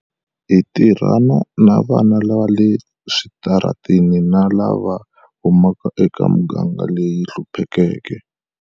Hi tirhana na vana va le switarateni na lava huma ka emigangeni leyi hluphekeke.